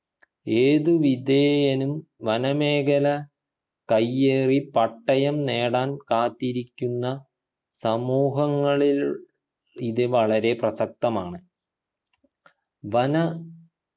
ഏതുവിധേയനും വന മേഖല കയ്യേറി പട്ടയം നേടാൻ കാത്തിരിക്കുന്ന സമൂഹങ്ങളിൽ ഇത് വളരെ പ്രസക്തമാണ് വന